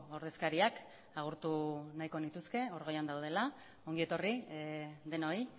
ordezkariak agurtu nahiko nituzke hor goian daudela ongi etorri denoi